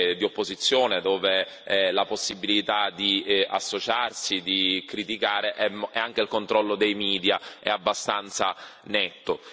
di opposizione, dove non c'è possibilità di associarsi e di criticare e dove anche il controllo dei media è abbastanza netto.